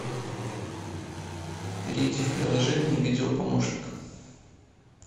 перейди в приложение видео помощник